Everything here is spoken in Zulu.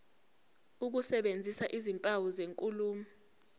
ukusebenzisa izimpawu zenkulumo